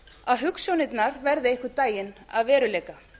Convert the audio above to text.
að hugsjónirnar verði einhvern daginn að veruleika